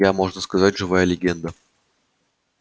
я можно сказать живая легенда